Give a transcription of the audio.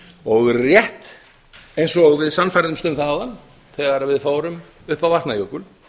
og rétt eins og við sannfærðumst um það áðan þegar við fórum upp á vatnajökul